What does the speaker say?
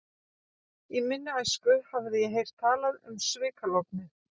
Í minni æsku hafði ég heyrt talað um svikalognið.